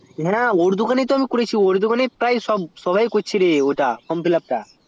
হ্যাঁ ওর দোকান এই করেছি ওর দোকান এই সবাই করছে form fillup টা